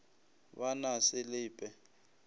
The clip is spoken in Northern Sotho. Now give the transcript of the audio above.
ba na se le pe